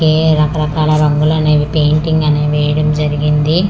ఏ రకరకాల రంగులనేవి పెయింటింగ్ అనే వేయడం జరిగింది.